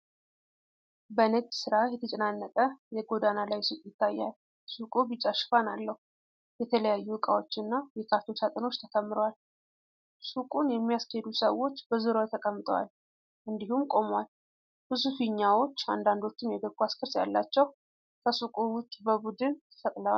በንግድ ስራ የተጨናነቀ የጎዳና ላይ ሱቅ ይታያል። ሱቁ ቢጫ ሽፋን አለው፤ የተለያዩ እቃዎችና የካርቶን ሳጥኖች ተከምረዋል። ሱቁን የሚያስኬዱ ሰዎች በዙሪያው ተቀምጠዋል እንዲሁም ቆመዋል። ብዙ ፊኛዎች፣ አንዳንዶቹም የእግር ኳስ ቅርጽ ያላቸው፣ ከሱቁ ውጭ በቡድን ተሰቅለዋል።